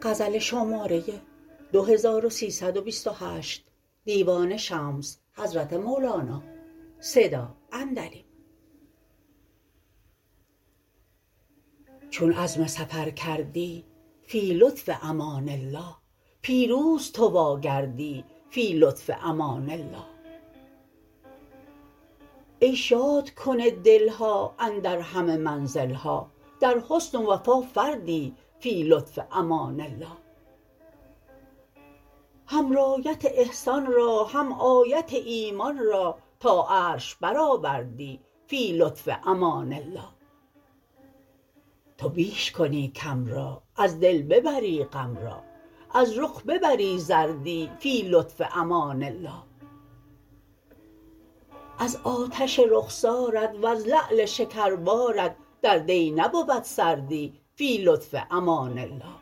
چون عزم سفر کردی فی لطف امان الله پیروز تو واگردی فی لطف امان الله ای شادکن دل ها اندر همه منزل ها در حسن و وفا فردی فی لطف امان الله هم رایت احسان را هم آیت ایمان را تا عرش برآوردی فی لطف امان الله تو بیش کنی کم را از دل ببری غم را از رخ ببری زردی فی لطف امان الله از آتش رخسارت وز لعل شکربارت در دی نبود سردی فی لطف امان الله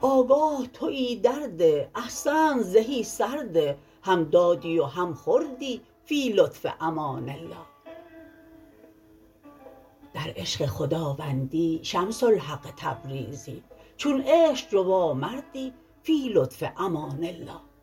آگاه توی در ده احسنت زهی سرده هم دادی و هم خوردی فی لطف امان الله در عشق خداوندی شمس الحق تبریزی چون عشق جوان کردی فی لطف امان الله